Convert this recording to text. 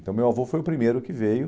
Então, meu avô foi o primeiro que veio.